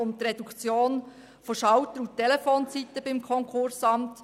Das betrifft die Reduktion von Schalter- und Telefonzeiten beim Konkursamt.